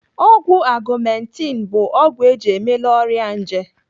Ọgwụ Augmenti bụ ọgwụ eji emela ọrịa nje.